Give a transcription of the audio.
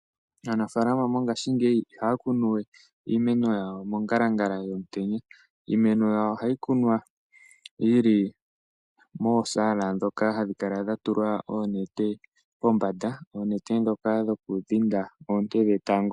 Aanafaalama mongaashingeyi I haya kunu we iimeno yawo mongalangala yomutenya. Yimwe mbyono ohayi kunwa yili moosaala ndhoka hadhi kala dha tulwa oonete pombanda. Oonete ndhoka dhokudhinda oonte dhetango.